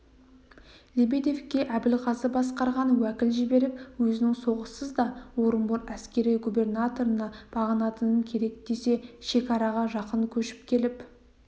лебедевке әбілғазы басқарған уәкіл жіберіп өзінің соғыссыз да орынбор әскери губернаторына бағынатынын керек десе шекараға жақын көшіп келіп